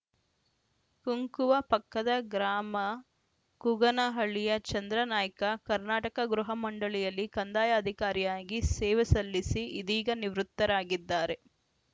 ಕುಂಕುವ ಪಕ್ಕದ ಗ್ರಾಮ ಕುಗನಹಳ್ಳಿಯ ಚಂದ್ರಾನಾಯ್ಕ ಕರ್ನಾಟಕ ಗೃಹ ಮಂಡಳಿಯಲ್ಲಿ ಕಂದಾಯ ಅಧಿಕಾರಿಯಾಗಿ ಸೇವೆ ಸಲ್ಲಿಸಿ ಇದೀಗ ನಿವೃತ್ತರಾಗಿದ್ದಾರೆ